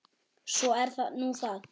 Svo er nú það.